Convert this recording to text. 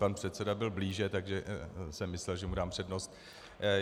Pan předseda byl blíže, takže jsem myslel, že mu dám přednost.